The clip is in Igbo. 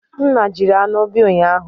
Nna jiri anụ bia ụnyahụ?